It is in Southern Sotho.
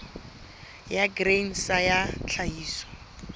ya grain sa ya tlhahiso